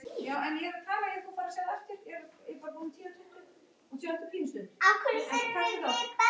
SKÚLI: Ég býð ekki neitt.